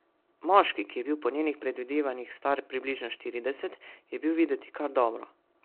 Moški, ki je bil po njenih predvidevanjih star približno štirideset, je bil videti kar dobro.